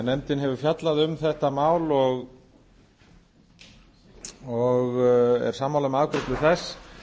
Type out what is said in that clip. nefndin hefur fjallað um þetta mál og er sammála um afgreiðslu þess